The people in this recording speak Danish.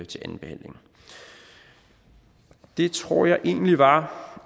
til andenbehandlingen det tror jeg egentlig var